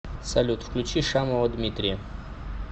салют включи шамова дмитрия